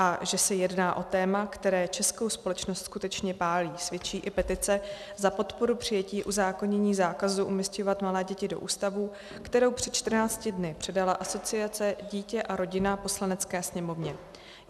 A že se jedná o téma, které českou společnost skutečně pálí, svědčí i petice za podporu přijetí uzákonění zákazu umísťovat malé děti do ústavů, kterou přes 14 dny předala Asociace Dítě a Rodina Poslanecké sněmovně.